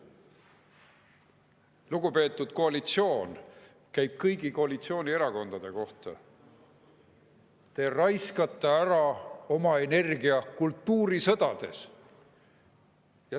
Lugupeetud koalitsioon – see käib kõigi koalitsioonierakondade kohta –, te raiskate oma energia ära kultuurisõdades.